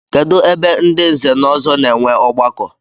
Kedụ ebe ndị nze na ọzọ na-enwe ọgbakọ?